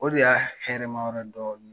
O de y'a hɛrɛ ma yɔrɔ ye dɔɔni.